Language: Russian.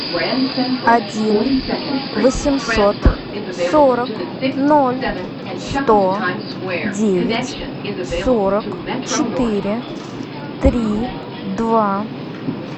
один восемьсот сорок ноль сто девять сорок четыре три два